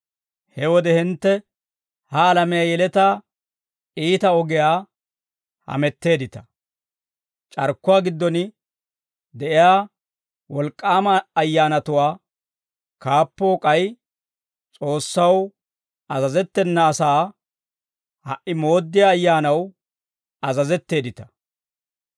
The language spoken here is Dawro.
He wode hintte ha alamiyaa yeletaa iita ogiyaa hametteeddita; c'arkkuwaa giddon de'iyaa wolk'k'aama ayyaanatuwaa kaappoo k'ay S'oossaw azazettena asaa ha"i mooddiyaa ayyaanaw azazetteeddita.